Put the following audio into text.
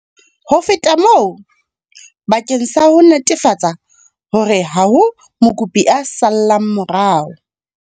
Ho feta moo, bakeng sa ho netefatsa hore ha ho mokopi a sallang morao.